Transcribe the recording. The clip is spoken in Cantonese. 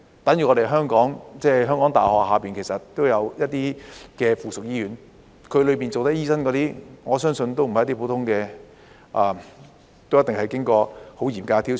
等於香港大學轄下也有一些附屬醫院，在附屬醫院裏工作的醫生，我相信不是普通的醫生，而是都一定經過很嚴格的挑選。